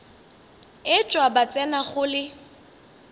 etšwa ba tsena go le